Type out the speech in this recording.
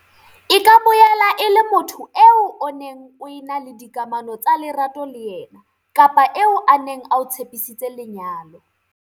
E ka boela e le motho eo o neng o ena le dikamano tsa lerato le yena kapa eo a neng a o tshepisitse lenyalo.